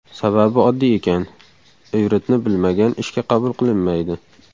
Sababi oddiy ekan: ivritni bilmagan ishga qabul qilinmaydi.